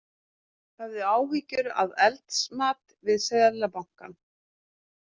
Höfðu áhyggjur af eldsmat við Seðlabankann